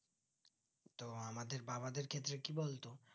তো আমাদের বাবাদের ক্ষেতের কি বলতো